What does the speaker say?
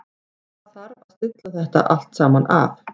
Það þarf að stilla þetta allt saman af.